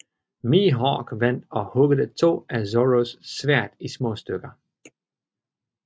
Mihawk vandt og huggede to af Zorros sværd i småstykker